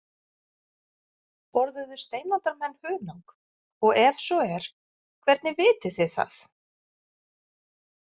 Borðuðu steinaldarmenn hunang, og ef svo er hvernig vitið þið það?